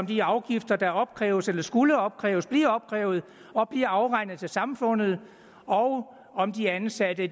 de afgifter der opkræves eller skulle opkræves bliver opkrævet og bliver afregnet til samfundet og om de ansatte